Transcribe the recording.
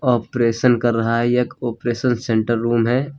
Operation कर रहा है यह एक ऑपरेशन सेंटर रूम है।